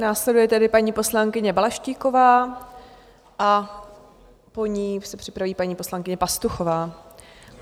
Následuje tedy paní poslankyně Balaštíková a po ní se připraví paní poslankyně Pastuchová.